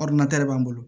b'an bolo